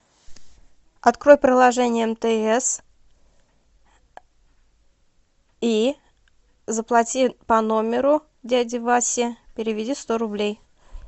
открой приложение мтс и заплати по номеру дяди васи переведи сто рублей